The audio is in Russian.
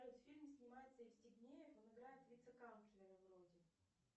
фильм снимается евстигнеев он играет вице канцлера вроде